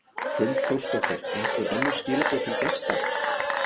Hrund Þórsdóttir: Einhver önnur skilaboð til gesta?